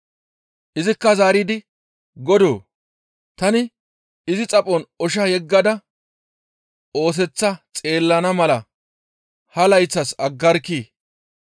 Izikka zaaridi, ‹Godoo! Tani izi xaphon osha yeggada ooseththa xeellana mala ha layththas aggaagarkkii?